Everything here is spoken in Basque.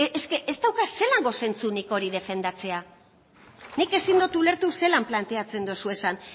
ez dauka zelango zentzurik hori defendatzeak nik ezin dot ulertu zelan planteatzen dozuezan